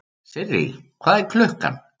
Sirrý, hvað er klukkan?